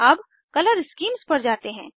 अब colour schemes पर जाते हैं